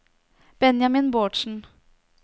Benjamin Bårdsen